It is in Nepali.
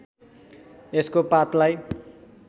यसको पातलाई